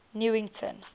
newington